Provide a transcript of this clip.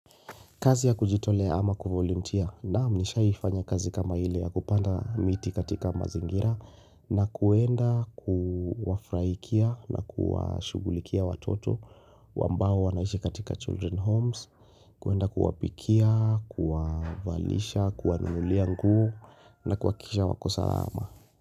Kazi ya kujitolea ama kuvolunteer naam nishaifanya kazi kama ile ya kupanda miti katika mazingira na kuenda kuwafurahikia na kuwashughulikia watoto ambao wanaishi katika Children Homes, kuenda kuwapikia, kuwavalisha, kuwanunulia nguo na kuhakikisha wako sawa.